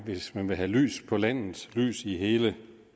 hvis man vil have lys på landet og lys i hele